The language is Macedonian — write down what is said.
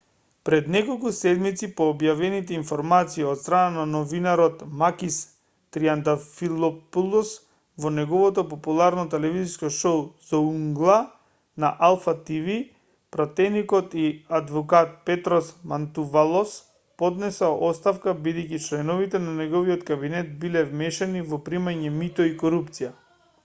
пред неколку седмици по објавените информации од страна на новинарот макис триантафилопулос во неговото популарно телевизиско шоу зоунгла на алфа тв пратеникот и адвокат петрос мантувалос поднесе оставка бидејќи членови на неговиот кабинет биле вмешани во примање мито и корупција